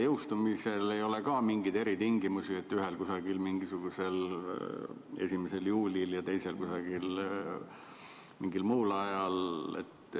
Jõustumise puhul ei ole ka mingeid eritingimusi, et ühel mingisugusel 1. juulil ja teisel mingil muul ajal.